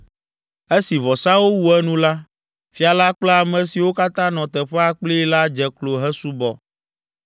Esi vɔsawo wu enu la, fia la kple ame siwo katã nɔ teƒea kplii la dze klo hesubɔ.